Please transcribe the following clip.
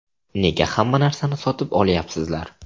Nega hamma narsani sotib olyapsizlar?